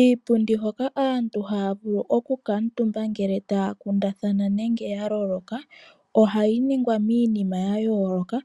Iipundi hoka aantu haya vulu okukuutumba ngele taya kundathana nenge ya vulwa ohayi ningwa miinima ya yooloka.